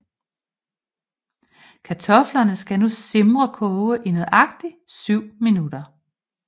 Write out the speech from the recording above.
Kartoflerne skal nu simrekoge i nøjagtig 7 minutter